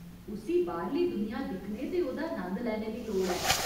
उस्सी बाह्‌रली दुनिया दिक्खने ते ओह्दा नंद लैने दी लोड़ ऐ।